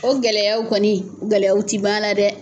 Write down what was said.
O gɛlɛyaw kɔni gɛlɛya ti ban na dɛ!